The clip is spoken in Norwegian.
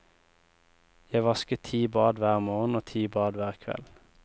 Jeg vasket ti bad hver morgen og ti bad hver kveld.